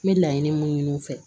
N bɛ laɲini mun ɲini u fɛ